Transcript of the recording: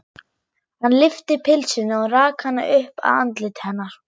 Hann lyfti pylsunni og rak hana upp að andliti hennar.